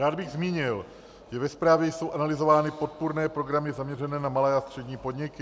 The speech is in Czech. Rád bych zmínil, že ve zprávě jsou analyzovány podpůrné programy zaměřené na malé a střední podniky.